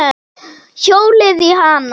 Hjólið í hana.